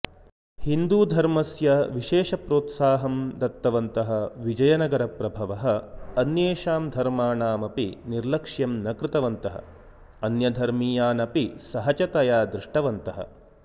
हिन्दूधर्मस्य विशेषप्रोत्साहम् दत्तवन्तः विजयनगरप्रभवः अन्येषाम् धर्माणामपि निर्लक्ष्यम् न् कृतवन्तः अन्यधर्मीयानपि सहजतया दृष्टवन्तः